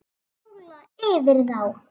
Rúlla yfir þá!